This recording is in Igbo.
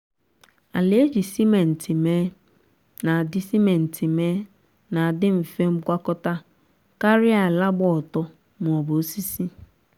ala eji simenti mee na-adi simenti mee na-adi mfe ngwọta karịa ala gba ọtọ maọbụ osisi